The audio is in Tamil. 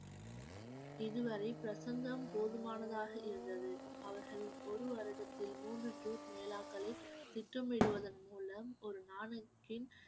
இதுவரை பிரசங்கம் போதுமானதாக இருந்தது அவர்கள் ஒரு வருடத்தில் மூன்று ஜூட் மேளாக்களை திட்டமிடுவதன் மூலம் ஒரு நாளைக்கு